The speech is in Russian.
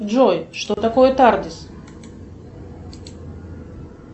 джой что такое тардис